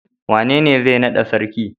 Wanene zai nada sarki?